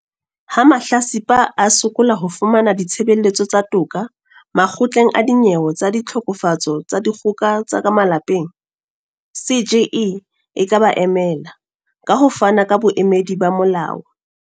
Ha mahlatsipa a sokola ho fumana ditshebeletso tsa toka Makgotleng a Dinyewe tsa Ditlhokofatso tsa Dikgoka tsa ka Malapeng, CGE e ka ba emela, ka ho fana ka boemedi ba molao.